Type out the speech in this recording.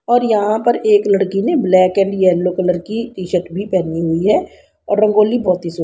और यहां पर एक लड़की ने ब्लैक एंड येलो कलर की टी शर्ट भी पहनी हुई है और रंगोली बहोत हि सु